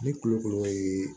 Ni kulokoro ye